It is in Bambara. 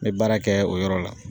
N be baara kɛ o yɔrɔ la